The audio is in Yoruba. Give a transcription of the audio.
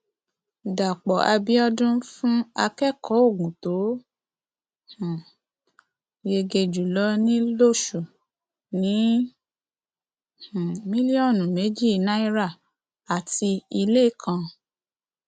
dápò àbíọdún fún akẹkọọ ogun tó um yege jù lọ ní lóṣù ní um mílíọnù méjì náírà àti ilé kan